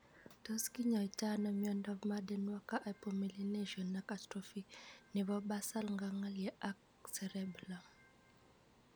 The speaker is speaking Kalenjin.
Tos kinyaitoi ano miondop Marden Walker hypomelination ak atrophy nepo basal ganglia ak cerebellum ?